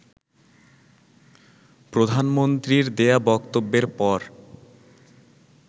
প্রধানমন্ত্রীর দেয়া বক্তব্যের পর